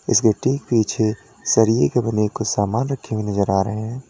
इसके ठीक पीछे सरिए के बने कुछ सामान रखे हुए नजर आ रहे हैं।